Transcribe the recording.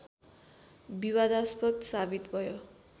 विवादास्पद साबित भयो